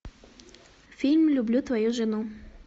фильм люблю твою жену